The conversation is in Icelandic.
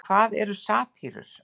en hvað eru satírur